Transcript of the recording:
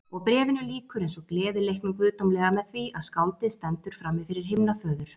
Og Bréfinu lýkur eins og Gleðileiknum guðdómlega með því að skáldið stendur frammifyrir himnaföður.